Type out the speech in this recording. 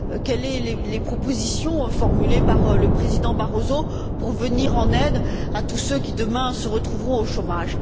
Quelles sont les propositions formulées par le président Barroso pour venir en aide à tous ceux qui, demain, se retrouveront au chômage?